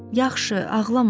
Yaxşı, ağlama.